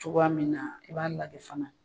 Cogoya min na i b'a lajɛ fana